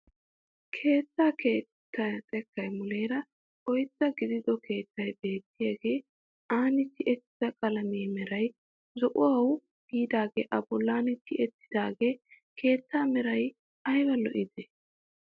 Keettaa xekkay muleera oydda gidido keettay beettiyaage ani tiyettida qalamiyaa meray zo'uwaawu biidagee a bollan tiyettidagee keettaa meraa ayba loyttidee!